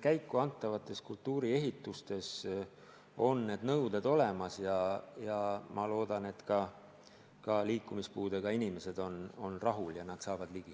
käiku antavates kultuuriehitistes on need nõuded olemas ja ma loodan, et ka liikumispuudega inimesed on rahul ja nad saavad ligi.